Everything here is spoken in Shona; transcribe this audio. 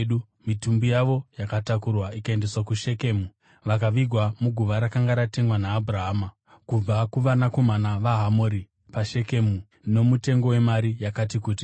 Mitumbi yavo yakatakurwa ikaendeswa kuShekemu vakavigwa muguva rakanga ratengwa naAbhurahama kubva kuvanakomana vaHamori, paShekemu, nomutengo wemari yakati kuti.